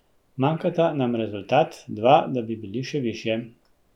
Manjkata nam rezultat, dva, da bi bili še višje.